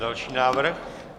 Další návrh.